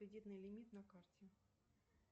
кредитный лимит на карте